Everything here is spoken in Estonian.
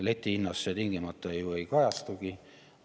Letihinnas see tingimata ei kajastugi.